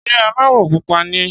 Ṣé aláwọ̀ pupa ni ẹ́?